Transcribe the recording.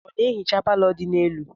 Ọ na-ehicha palọ dị n'elu?